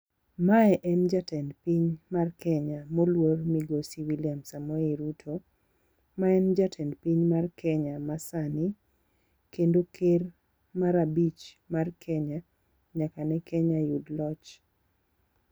Mae en jatend piny mar Kenya moluor migosi William Samoei Ruto. Ma en jatend piny mar Kenya masani, Kendo ker mar abich mar Kenya, nyaka ne Kenya yud loch.